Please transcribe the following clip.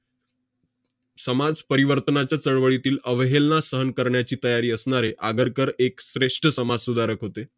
समाजपरिवर्तनाच्या चळवळीतील अवहेलना सहन करण्याची तयारी असणारे आगरकर एक श्रेष्ठ समाजसुधारक होते.